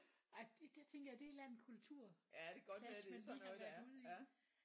Ej det det tænker jeg det er et eller andet kultur clash man lige har været ude i